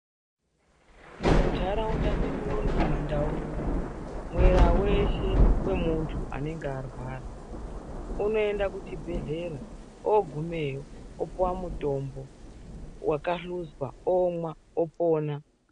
Muntharaunda medu unono kumaNdau unouno mwera weshe wemunthu anenge arwara unoenda kuchibhedhlera ogumeyo opuwa mutombo wakahluzwa omwa opona.